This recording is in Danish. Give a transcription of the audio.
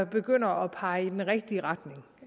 begynder at pege i den rigtige retning